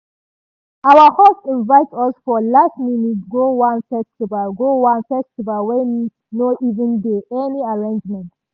our host invite us for last minute go one festival go one festival wey no even dey any arrangement.